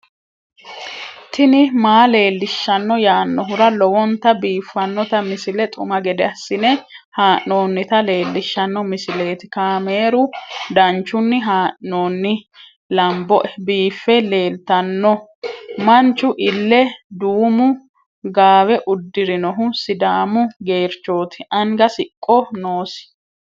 tini maa leelishshanno yaannohura lowonta biiffanota misile xuma gede assine haa'noonnita leellishshanno misileeti kaameru danchunni haa'noonni lamboe biiffe leeeltanno manchu ille duumu gaawe uddirinohu sidaamu geerchooti anga siqqo noosi